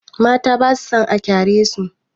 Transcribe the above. Mata ba sa son a kyaresu.